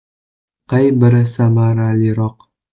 Qay biri samaraliroq?.